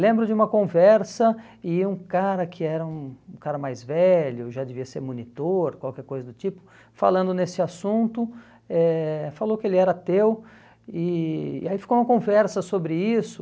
Lembro de uma conversa e um cara que era um um cara mais velho, já devia ser monitor, qualquer coisa do tipo, falando nesse assunto, eh falou que ele era ateu e e aí ficou uma conversa sobre isso.